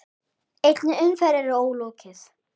Einni umferð er ólokið.